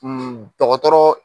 dɔgɔtɔrɔ.